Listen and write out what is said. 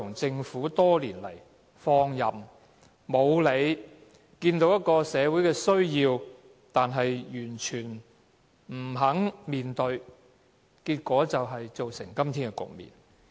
政府多年來採取放任態度，即使看到社會需要，卻完全不肯面對，結果造成今天的局面。